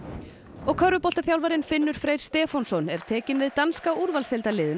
og Finnur Freyr Stefánsson er tekinn við danska úrvalsdeildarliðinu